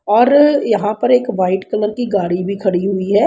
और यहां पर एक वाइट कलर की गाड़ी भी खड़ी हुई है।